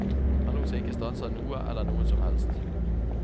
Han lot seg ikke stanse av noe eller noen som helst.